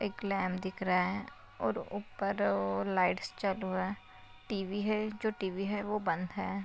एक लैम्प दिख रहा है और ऊपर अ लाइट्स चालू है टी_वी है जो टी_वी है वो बंद है।